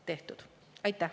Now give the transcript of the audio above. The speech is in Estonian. Aitäh!